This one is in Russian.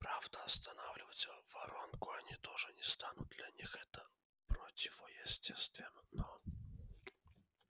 правда останавливать воронку они тоже не станут для них это противоестественно